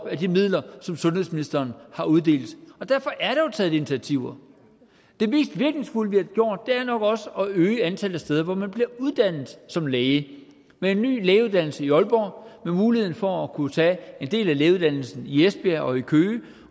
af de midler som sundhedsministeren har uddelt så derfor er der jo taget initiativer det mest virkningsfulde vi har gjort er nok også at øge antallet af steder hvor man bliver uddannet som læge med en ny lægeuddannelse i aalborg med muligheden for at kunne tage en del af lægeuddannelsen i esbjerg og i køge